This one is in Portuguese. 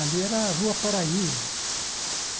Ali era a Rua Paraíso.